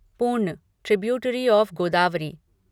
पूर्ण tributary of Godavari